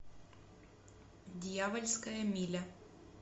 дьявольская миля